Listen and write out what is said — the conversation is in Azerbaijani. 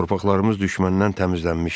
Torpaqlarımız düşməndən təmizlənmişdi.